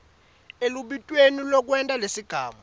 elubitweni lwekwenta lesigamu